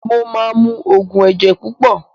Mo ma mu oògùn ẹ̀jẹ̀ púpọ̀